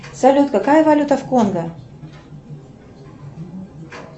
салют какая валюта в конго